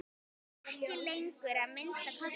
Ekki lengur, að minnsta kosti.